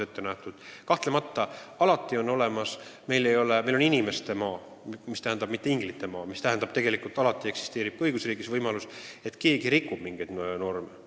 Aga meil on inimeste maa, mitte inglite maa, mis tähendab seda, et alati eksisteerib ka õigusriigis võimalus, et keegi rikub mingeid norme.